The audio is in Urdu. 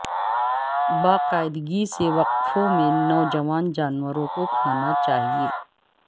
باقاعدگی سے وقفوں میں نوجوان جانوروں کو کھانا چاہئے